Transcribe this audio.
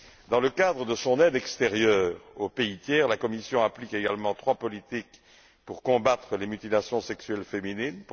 Dans le cadre de son aide extérieure aux pays tiers, la Commission applique également trois politiques pour combattre les mutilations sexuelles féminines.